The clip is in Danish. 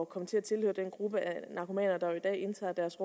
komme til at tilhøre den gruppe af narkomaner der jo i dag indtager deres